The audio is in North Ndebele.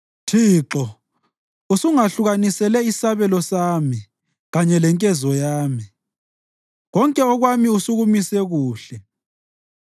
Thixo, usungahlukanisele isabelo sami kanye lenkezo yami; konke okwami usukumise kuhle.